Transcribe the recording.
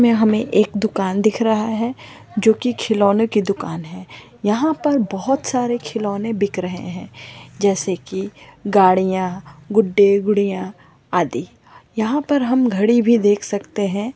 मे हमे एक दुकान दिख रहा है जो की खिलोनों की दुकान है यहां पर बहुत सारे खिलोने बिक रहे है जैसे की गाड़ियां गुड्डे गुड़िया आदि यहां पर हम घड़ी भी देख सकते है।